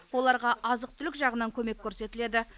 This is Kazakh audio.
оларға азық түлік жағынан көмек көрсетіледі